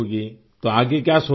تو آگے کیا سوچ رہے ہیں؟